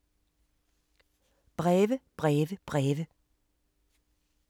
Breve, breve, breve